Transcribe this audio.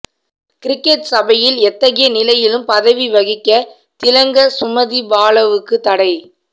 cricket சபையில் எத்தகைய நிலையிலும் பதவி வகிக்க திலங்க சுமதிபாலவுக்கு தடை